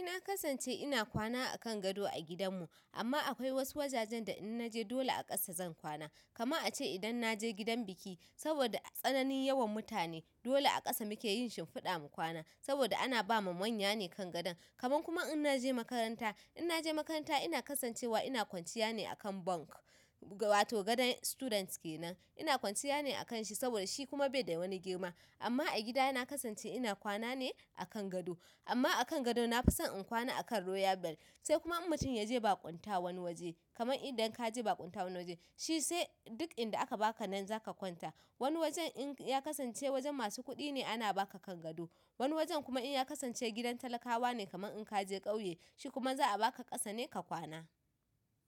Eh na kasance ina kwana a kan gado a gidanmu amma akwai wasu wajajen da in naje dole a ƙasa zan kwana kama a ce idan na je gidan biki saboda tsananin yawan mutane dole a ƙasa muke yin shimfiɗa mu kwana saboda ana ba ma manya ne kan gadon kaman kuma in naje makaranta in na je makaranta ina kasancewa ina kwanciya ne a kan bunk wato gadon students kenan ina kwanciya ne a kan shi saboda shi kuma bai da wani girma amma a gida na kasance ina kwana ne a kan gado amma a kan gado na fi son in kwana a kan royal bell sai kuma mutum ya je baƙunta wani waje kaman idan ka je baƙunta wani waje shi sai duk inda aka ba ka nan za ka kwanta wani wajen in ya kasance wajen masu kuɗi ne ana ba ka kan gado wani wajen kuma in ya kasance gidan talakawa ne kaman in ka je ƙauye shi kuma za a baka ƙasa ne ka kwana.